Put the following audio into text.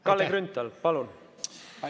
Kalle Grünthal, palun!